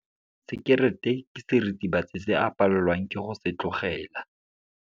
Sekerete ke seritibatsi se a palelwang ke go se tlogela.